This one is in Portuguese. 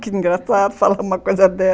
Que engraçado falar uma coisa dessas.